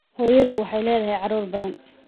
Hooyadu waxay leedahay caruur badan